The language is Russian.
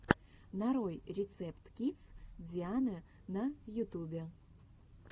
нарой рецепт кидс дианы на ютубе